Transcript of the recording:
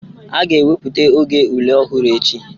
A ga-ewepụta oge ule ọhụrụ echi